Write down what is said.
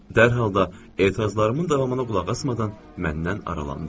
Dərhal da etirazlarımın davamına qulaq asmadan məndən aralandı.